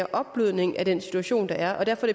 optrapning af den situation der er og derfor